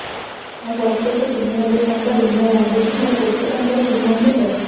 ମୁ ବର୍ଷ କୁ ତିନି ହଜାର ଟଙ୍କା ବୀମା ବାନ୍ଧୁଛି ମୋର କେତେ ଟଙ୍କାର ବୀମା ହବ